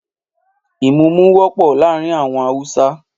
Ìmúmu wọ́pọ̀ láàárín àwọn Hausa